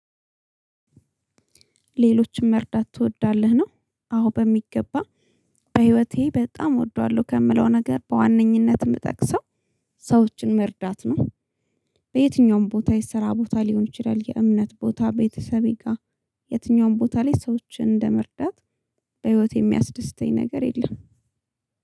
ሌሎችን መርዳት ትወዳለህ ነው? አዎ በሚገባ በህይወቴ በጣም እወደዋለሁ። ከምለው ነገር በዋነኝነት የምጠቅሰው ሰዎችን መርዳት ነው። በየትኛውም ቦታ የስራ ቦታ ሊሆን ይችላል የእምነት ቦታ ቤተሰቤ ጋር የትኛውም ቦታ ላይ ሰዎችን እንደመርዳት። በህይወቴ የሚያስደስተኝ ነገር የለም።